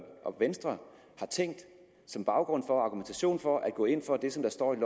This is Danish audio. og venstre har tænkt som baggrund for og argumentation for at gå ind for det som der står i